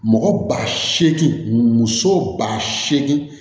Mɔgɔ ba seegin muso ba seegin